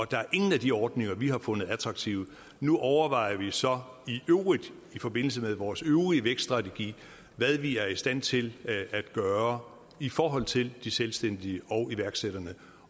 der er ingen af de ordninger vi har fundet attraktive nu overvejer vi så i øvrigt i forbindelse med vores øvrige vækststrategi hvad vi er i stand til at gøre i forhold til de selvstændige og iværksætterne